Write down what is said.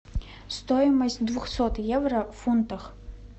стоимость двухсот евро в фунтах